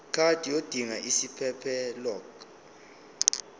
card yodinga isiphephelok